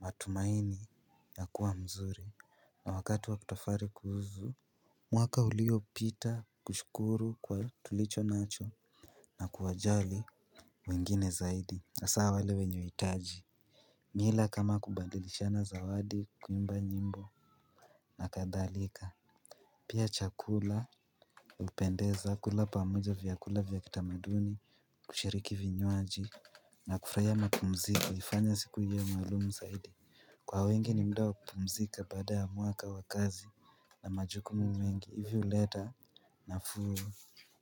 matumaini ya kuwa mzuri na wakati wa kutafari kuhuzu mwaka uliopita kushukuru kwa tulicho nacho. Na kuwajali wengine zaidi hasaa wenye hitaji. Mila kama kubadilishana zawadi, kuimba nyimbo na kadhalika. Pia chakula hupendeza kula pamoja vyakula vya kitamaduni. Kushiriki vinywaji na kufurahia mapumziko kwa wengi ni muda wa kupumzika baada ya mwaka wa kazi na majukumu mengi hivyo huleta nafuu